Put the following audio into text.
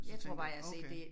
Jeg tror bare jeg har set det